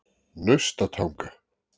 Naustatanga